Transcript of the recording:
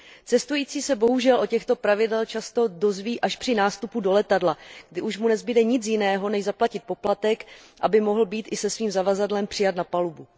Cestující se bohužel o těchto pravidlech často dozví až při nástupu do letadla, kdy už mu nezbude nic jiného, než zaplatit poplatek, aby mohl být i se svým zavazadlem přijat na palubu.